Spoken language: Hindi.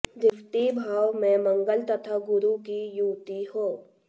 द्वितीय भाव में मंगल तथा गुरु की युति हो